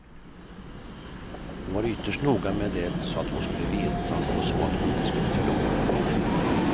Hon var ytterst noga med det så att han skulle veta och så att hon inte skulle förlora honom.